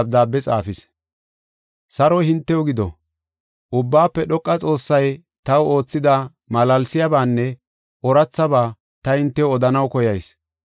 Ubbaafe Dhoqa Xoossay taw oothida, malaalsibaanne oorathaba ta hintew odanaw koyayis.